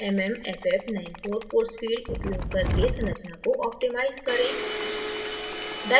mmff94 force field उपयोग करके संरचना को optimize करें